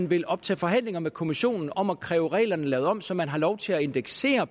vil optage forhandlinger med kommissionen om at kræve reglerne lavet om så man har lov til at indeksere